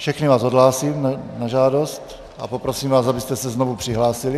Všechny vás odhlásím na žádost a poprosím vás, abyste se znovu přihlásili.